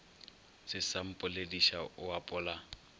se sa mpolediša o apola